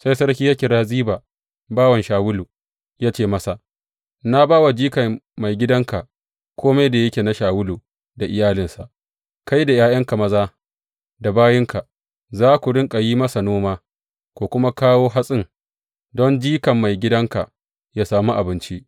Sai sarki ya kira Ziba bawan Shawulu, ya ce masa, Na ba wa jikan maigidanka kome da yake na Shawulu da iyalinsa Kai da ’ya’yanka maza da bayinka za ku riƙa yin masa noma, ku kuma kawo hatsin, don jikan maigidanka yă sami abinci.